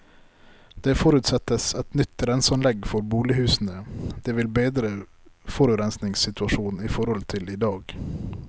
Det forutsettes et nytt renseanlegg for bolighusene, det vil bedre forurensningsituasjonen i forhold til i dag.